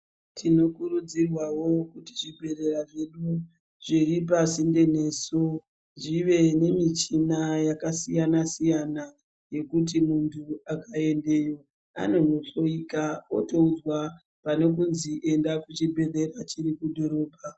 Tinokurudzirwawo kuti zvibhedhlera zvedu zviri pasinde nesu zvive nemichina yakasiyana siyana yekuti munthu akaendeyo anohloyika otoudzwa pane kuzi enda kuchibhedhlera chiri kudhorobha.